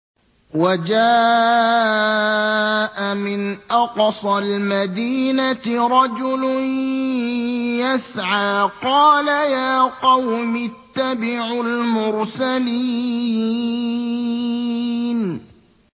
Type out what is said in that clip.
وَجَاءَ مِنْ أَقْصَى الْمَدِينَةِ رَجُلٌ يَسْعَىٰ قَالَ يَا قَوْمِ اتَّبِعُوا الْمُرْسَلِينَ